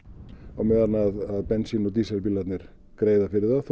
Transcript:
á meðan að bensín og dísilbílarnir greiða fyrir það þó